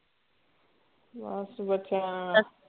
ਬਸ ਬੱਚਿਆਂ